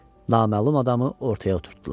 Naməlum adamı ortaya oturdular.